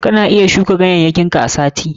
Kana iya shuka ganyayyakin ka a sati.